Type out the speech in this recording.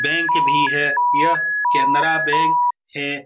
Bank भी है यह केनरा बैंक है।